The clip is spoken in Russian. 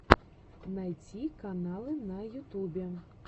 найти каналы на ютубе